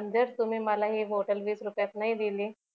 अन जर तुम्ही मला हि बॉटल वीस रुपयात नाही दिली